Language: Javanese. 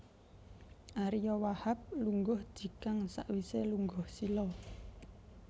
Ariyo Wahab lungguh jigang sakwise lungguh sila